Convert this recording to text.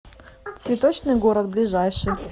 цветочный город ближайший